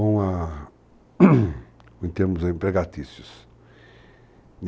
com a em termos empregatícios.